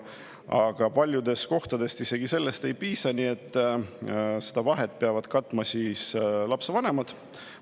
Aga paljudes kohtades isegi sellest ei piisa, nii et seda vahet peavad katma lapsevanemad.